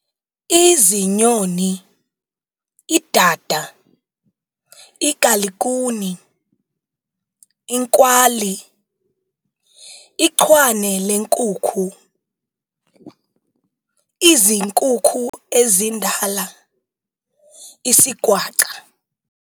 Izinyoni- Idada, igalikhuni, inkwali, ichwane lenkukhu, izinkukhu ezindala, isigwaca